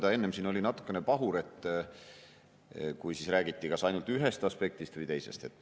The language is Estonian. Ta enne oli siin natuke pahur, kui räägiti kas ainult ühest aspektist või teisest.